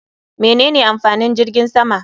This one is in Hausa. Menene amfanin jirgin sama?